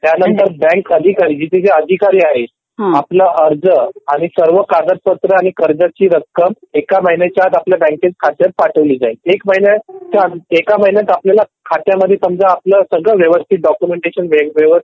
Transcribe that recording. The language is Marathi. त्यानंतर बँक अधिकारी तिथे जे अधिकारी आहेत त्यांना अर्ज सर्व कागदपत्र आणि कर्जाची रक्कम एका महिन्याच्या आत आपल्या बँकेच्या खात्याच्या आत पाठवली जाईल .एका महिन्यात खात्यामध्ये समजा आपला सगळं वेरिफाय व्यवस्थित डॉक्युमेंटटेशन